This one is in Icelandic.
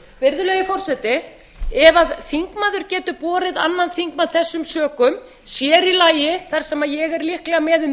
virðulegi forseti ef þingmaður getur borið annan þingmann þessum sökum sér í lagi þar sem ég er líklega með um